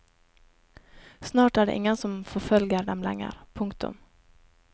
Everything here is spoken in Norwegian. Snart er det ingen som forfølger dem lenger. punktum